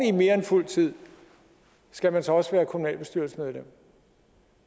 i mere end fuldtid skal man så også være kommunalbestyrelsesmedlem